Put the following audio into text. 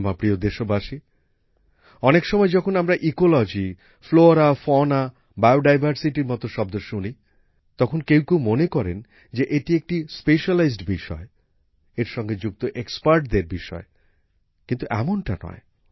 আমার প্রিয় দেশবাসী অনেক সময় যখন আমরা ইকোলজি ফ্লোরা ফনাবায়োডাইভারসিটির মতো শব্দ শুনি তখন কেউ কেউ মনে করেন যে এটি নির্দিষ্ট কোনএকটি বিষয় এর সঙ্গে যুক্ত বিষেষজ্ঞদের বিষয় কিন্তু এমনটা নয়